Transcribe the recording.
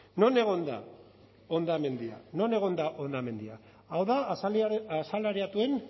non egon da hondamendia non egon da hondamendia hau da asalariatuen